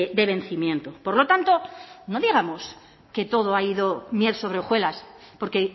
de vencimiento por lo tanto no digamos que todo ha ido miel sobre hojuelas porque